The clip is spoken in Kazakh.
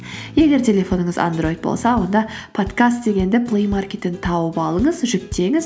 егер телефоныңыз андроид болса онда подкаст дегенді плэймаркеттен тауып алыңыз жүктеңіз